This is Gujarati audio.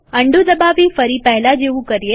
અન્ડું દબાવી ફરી પહેલા જેવું કરીએ